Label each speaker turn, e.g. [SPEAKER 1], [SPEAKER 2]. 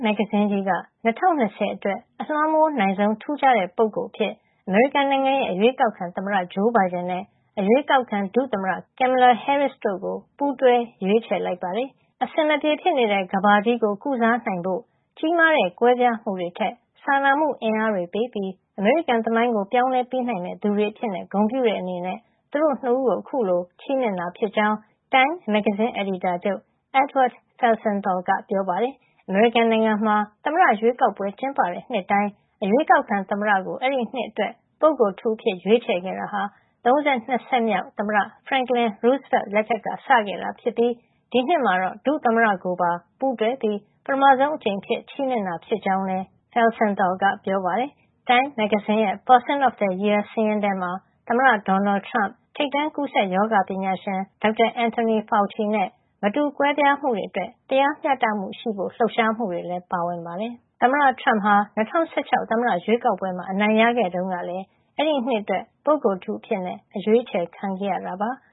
[SPEAKER 1] မဂ္ဂဇင်းကြီးက “2020 Person of the Year ” ၂၀၂၀ အတွက် အလွှမ်းမိုးနိုင်ဆုံး ထူးခြားတဲ့ ပုဂ္ဂိုလ် အဖြစ် အမေရိကန်နိုင်ငံရဲ့ အရွေးကောက်ခံသမ္မတ Joe Biden နဲ့ အရွေးကောက်ခံ ဒုသမ္မတ Kamala Harris တို့ကိုပူးတွဲ ရွေးချယ်လိုက်ပါတယ်။ အဆင်မပြေဖြစ်နေတဲ့ ကမ္ဘာကြီးကို ကုစားနိုင်ဖို့၊ ကြီးမားတဲ့ကွဲပြားမှုတွေထက် စာနာမှုအင်အားတွေပေးပြီး အမေရိကန်သမိုင်းကို ပြောင်းလဲပေးနိုင်မယ့် သူတွေအဖြစ် ဂုဏ်ပြုတဲ့ အနေနဲ့ သူတို့ ၂ ဦးကို အခုလို ချီးမြှင့်တာ ဖြစ်ကြောင်း Time မဂ္ဂဇင်းအယ်ဒီတာချုပ် Edward Felsenthal ကပြောပါတယ်။ အမေရိကန်နိုင်ငံမှာ သမ္မတရွေးကောက်ပွဲ ကျင်းပတဲ့ နှစ်တိုင်း အရွေးကောက်ခံ သမ္မတကို အဲဒီနှစ်အတွက် ပုဂ္ဂိုလ်ထူးအဖြစ် ရွေးချယ်ခဲ့တာဟာ ၃၂ ဆက်မြောက် သမ္မတ Franklin Delano Roosevelt လက်ထက်ကစခဲ့တာ ဖြစ်ပြီး ဒီနှစ်မှာတော့ ဒုသမ္မတကိုပါပူးတွဲပြီး ပထမဆုံး အကြိမ် ချီးမြှင့်တာ ဖြစ်ကြောင်းလည်း Felsenthal ကပြောပါတယ်။ Time မဂ္ဂဇင်းရဲ့ Person of the Year စာရင်းထဲမှာ သမ္မတဒေါ်နယ်ထရမ့်၊ ထိပ်တန်းကူးစက်ရောဂါပညာရှင် ဒေါက်တာ Anthony Fauci နဲ့ မတူကွဲပြားမှုတွေအတွက် တရားမ ျှတမှုရှိဖို့ိ လှုပ်ရှားမှု တွေလည်း ပါဝင်ပါတယ်။ သမ္မတထရမ့်ဟာ ၂၀၁၆ သမ္မတရွေးကောက်ပွဲမှာ အနိုင်ရခဲ့တုန်းက အဲဒီနှစ်အတွက် ပုဂ္ဂိုလ်ထူး အဖြစ်အရွေးချယ်ခံခဲ့ရတာပါ။